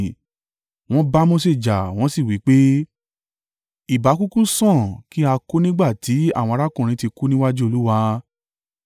wọ́n bá Mose jà wọ́n sì wí pé, “Ìbá kúkú sàn kí a kú nígbà tí àwọn arákùnrin ti kú níwájú Olúwa!